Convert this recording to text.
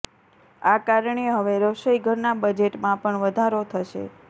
આ કારણે હવે રસોઇ ઘરનાં બજેટમાં પણ વધારો થશે